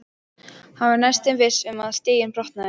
Hann var næstum viss um að stiginn brotnaði.